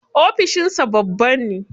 Ofishin sa babba ne.